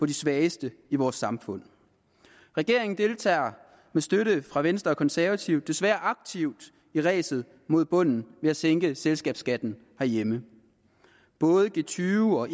de svageste i vores samfund regeringen deltager med støtte fra venstre og konservative desværre aktivt i ræset mod bunden ved at sænke selskabsskatten herhjemme både g20 og